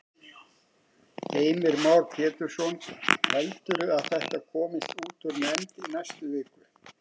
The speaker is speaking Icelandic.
Heimir Már Pétursson: Heldurðu að þetta komist út úr nefnd í næstu viku?